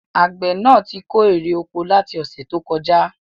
Àgbẹ̀ náà tí kó èrè oko láti ọ̀sẹ̀ tó kọjá